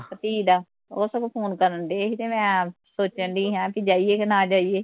ਭਤੀਹ ਦਾ, ਉਹ ਸਗੋਂ ਫੋਨ ਕਰਨ ਡਏ ਸੀ ਤੇ ਮੈਂ, ਸੋਚਣ ਡਈ ਸਾ ਵੀ ਜਾਈਏ ਕਿ ਨਾ ਜਾਈਏ